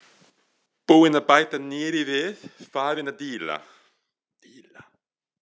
Búinn að bæta nýrri við, farinn að díla.